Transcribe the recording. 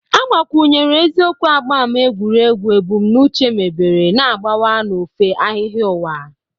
Agbakwunyere eziokwu agba ámá egwuregwu; ebumnuche mebere na-agbawa n'ofe ahịhịa ụwa.